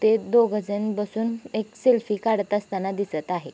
ते दोघे जन बसून एक सेल्फी काढत असताना दिसत आहेत.